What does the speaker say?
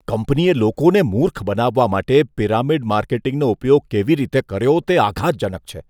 કંપનીએ લોકોને મૂર્ખ બનાવવા માટે પિરામિડ માર્કેટિંગનો ઉપયોગ કેવી રીતે કર્યો તે આઘાતજનક છે.